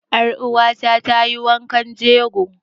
Ƴar uwa ta ta yi wankan jegon.